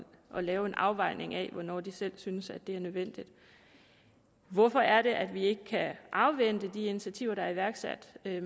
at lave en afvejning af hvornår de selv synes det er nødvendigt hvorfor er det at vi ikke kan afvente de initiativer der er iværksat med